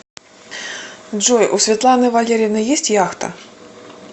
джой у светланы валерьевны есть яхта